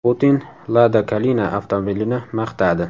Putin Lada Kalina avtomobilini maqtadi.